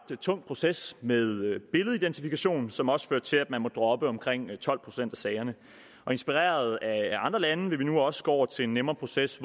tung proces med billedidentifikation som også fører til at man må droppe omkring tolv procent af sagerne og inspireret af andre lande vil vi nu også gå over til en nemmere proces